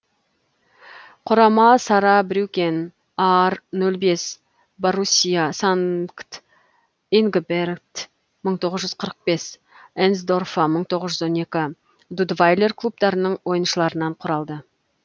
құрама саарбрюкен аар нөл бес боруссия санкт ингберт мың тоғыз қырық бес энсдорфа мың тоғыз жүз он екі дудвайлер клубтарының ойыншыларынан құралды